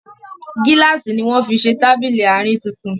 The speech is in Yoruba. gíláàsì ní wón fí ṣe Tábìlì Àárín títún